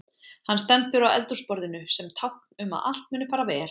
Hann stendur á eldhúsborðinu sem tákn um að allt muni fara vel.